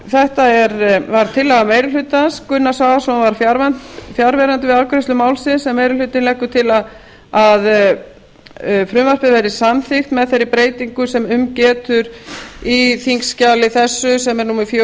þetta var tillaga meiri hlutans gunnar svavarsson var fjarverandi við afgreiðslu málsins en meiri hlutinn leggur til að frumvarpið verði samþykkt með þeirri breytingu sem um getur í þingskjali þessu sem er númer fjögur